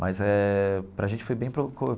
Mas eh para a gente foi bem proco.